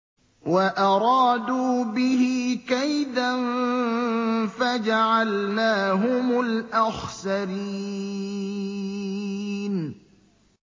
وَأَرَادُوا بِهِ كَيْدًا فَجَعَلْنَاهُمُ الْأَخْسَرِينَ